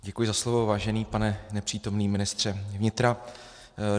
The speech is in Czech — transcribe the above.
Děkuji za slovo, vážený pane nepřítomný ministře vnitra.